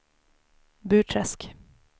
Burträsk